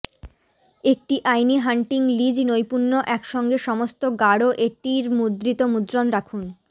একটি আইনি hunting lease নৈপুণ্য একসঙ্গে সমস্ত গাঢ় এটির মুদ্রিত মুদ্রণ রাখুন